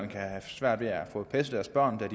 kan have svært ved at få passet deres børn da